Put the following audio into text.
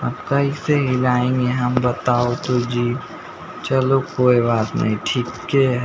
अब कैसे हिलाएंगे हम बताओ तो जी चलो कोई बात नहीं ठीक ये ह --